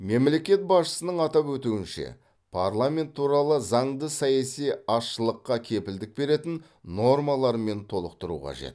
мемлекет басшысының атап өтуінше парламент туралы заңды саяси азшылыққа кепілдік беретін нормалармен толықтыру қажет